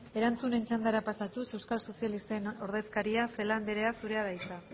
erantzunen txandara pasatuz euskal sozialisten ordezkaria celaá andrea zurea da hitza